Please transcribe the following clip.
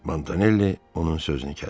Montanelli onun sözünü kəsdi.